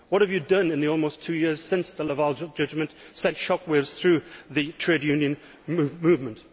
What have you done in the almost two years since the Laval judgment sent shock waves through the trade union movement?